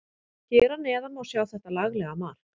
Hér að neðan má sjá þetta laglega mark.